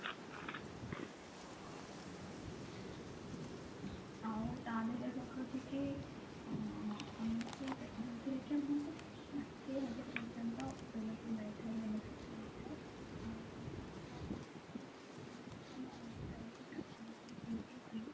ଆଉ ତା ଧିଅରେ ରହୁଛି କି ଅ ଆମକୁ ସେଥିରେ ଗୋଟେ ଯୋଉଥିରେ କି ଆମକୁ ଷାଠିଏ ହଜାର ପର୍ଯ୍ୟନ୍ତ ଲାଭ ମିଳିଥାଏ benefit ମିଳିଥାଏ ଆଉ